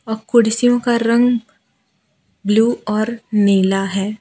अह कुर्सियों का रंग ब्लू और नीला है।